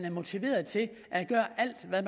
er motiverede til at gøre alt hvad